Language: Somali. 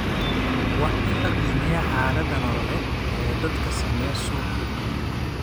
Waa in la qiimeeyaa xaaladda nololeed ee dadka saameeya suuqa hilibka.